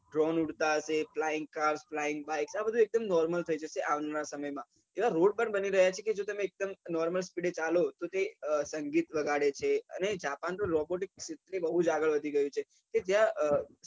ડ્ર droan ઉડતા હશે flying car flying bike આ બધું normal થઇ જશે આવનારા સમય માં એવા road પણ બની રહ્યા છે કે જો તમે normal સ્પીડે ચાલો તે સંગીત વગાડે છે જાપાન તો robotics માં બઉ આગળ વધી ગયું છે કે જ્યાં